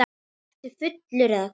Ertu fullur eða hvað?